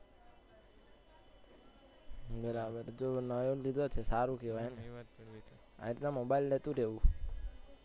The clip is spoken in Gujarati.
બરાબર જો તું નવો લે તો સારું કેવાય ને, એટલે મોબાઈલ નું શું કેવું?